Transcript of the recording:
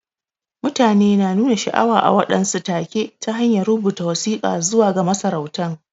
Mutane na nuna sha'awa a waɗansu take ta hanyar rubuta wasika zuwa ga masarautan.